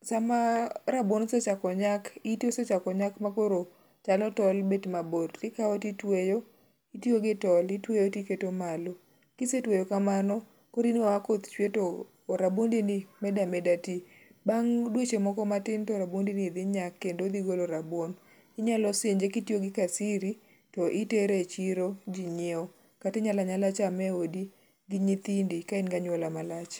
sama rabuon osechako nyak ,ite osechako nyaka makoro chalo tol bet mabor tikawo ti tueyo ,itueyo gi tol itweyo ti keto malo ,kise tweyo kamano kori neno ka koth chue to rabuondi ni meda meda ti, bang dweche moko matin to rabuondi ni dhi nyaka kendo dhi golo rabuon, inyalo sinje kitiyo gi kasiri to itere e chiro ji ng'iewo kata inyala nyala chame e odi ka in gi anyuola malach.